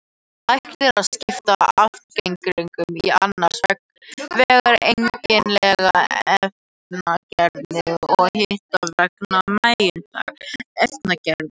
Hægt er að skipta efnagreiningum í annars vegar eigindlegar efnagreiningar og hins vegar megindlegar efnagreiningar.